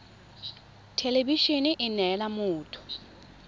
thelebi ene e neela motho